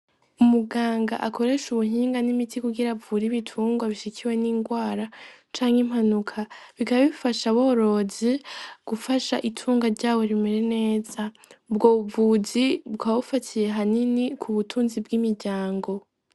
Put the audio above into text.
Umuganga akoresha ubuhinga n'imiti kugira avure ibitungwa bishikiwe n'inrwara canke impanuka, bikaba bifasha aborozi gufasha itunga vyabo kugira rimera neza, ubwo buvuzi bukaba bufatiye hanini k'ubutunzi bw'imiryango.